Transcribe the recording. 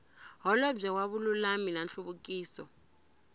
holobye wa vululami na nhluvukiso